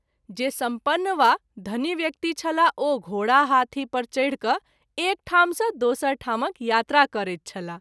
जे सम्पन्न वा धनी व्यक्ति छलाह ओ घोड़ा, हाथी परि चैढ क’ एक ठाम सँ दोसर ठामक यात्रा करैत छलाह।